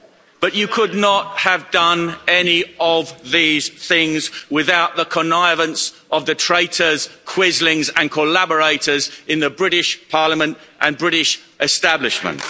But you could not have done any of these things without the connivance of the traitors, quislings and collaborators in the British Parliament and British establishment.